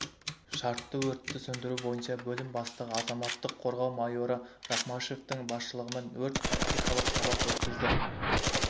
шартты өртті сөндіру бойынша бөлім бастығы азаматтық қорғау майоры рахмашевтің басшылығымен өрт-тактикалық сабақ өткізді